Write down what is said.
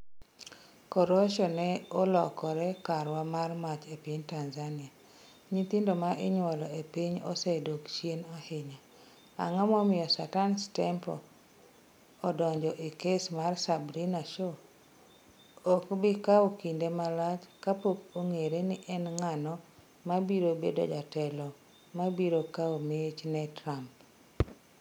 Korosho ne olokore karwa mar mach e piny Tanzania Nyithindo ma inyuolo e piny osedok chien ahinya. Ang'o momiyo Satan's Temple donjo e kes mar Sabrina Show? Ok bi kawo kinde malach kapok ong'ere ni en ng'ano ma biro bedo jatelo ma biro kawo mich ne Trump.